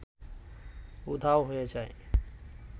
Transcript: উধাও হয়ে যায়